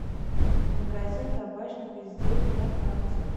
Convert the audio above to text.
магазин табачных изделий на карте